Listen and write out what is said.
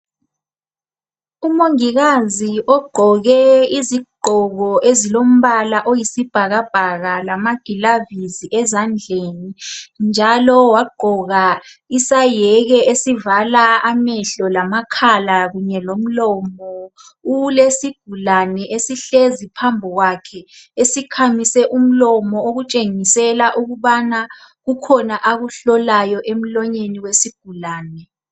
Umongikazi ogqoke izigqoko ezilombala oyisibhakabhaka lamagilavisi ezandleni, njalo wagqoka isayeke esivala amehlo, lamakhala, kunye lomlomo. Ulesigulane esihlezi phambi kwakhe esikhamise umlomo okutshengisela ukubana kukhona akuhlolayo emlonyeni wesigulane.